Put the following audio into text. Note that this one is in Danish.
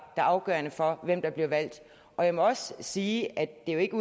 er afgørende for hvem der bliver valgt og jeg må også sige at det jo ikke